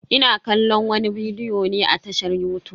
Ina kallon wani bidiyo ne a tashar yutub.